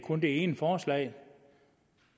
om det ene forslag